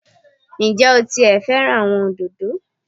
Ǹ jé o ti è fẹ́ràn àwọn òdòdó